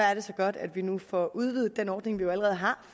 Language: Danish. godt at vi nu får udvidet den ordning vi jo allerede har